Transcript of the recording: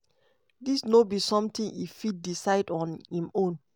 "dis no be sometin e fit decide on im own."